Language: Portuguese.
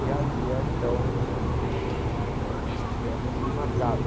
E havia, então, eh essas festas que marcavam.